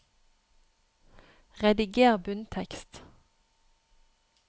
Rediger bunntekst